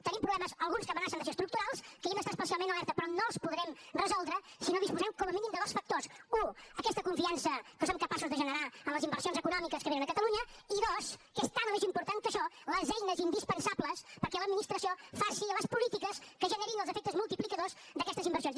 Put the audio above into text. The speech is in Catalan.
tenim problemes alguns que amenacen de ser estructurals que hi hem d’estar especialment alerta però no els podrem resoldre si no disposem com a mínim de dos factors u aquesta confiança que som capaços de generar en les inversions econòmiques que vénen a catalunya i dos que és tant o més important que això les eines indispensables perquè l’administració faci les polítiques que generin els efectes multiplicadors d’aquestes inversions